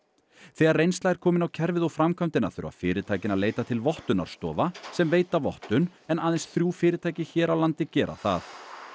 þegar reynsla er komin á kerfið og framkvæmdina þurfa fyrirtækin að leita til vottunarstofa sem veita vottun en aðeins þrjú fyrirtæki hér á landi gera það